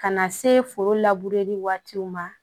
Ka na se foro labureli waatiw ma